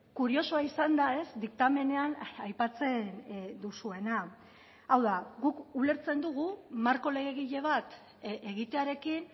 kuriosoa izan da diktamenean aipatzen duzuena hau da guk ulertzen dugu marko legegile bat egitearekin